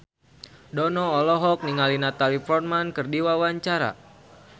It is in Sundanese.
Dono olohok ningali Natalie Portman keur diwawancara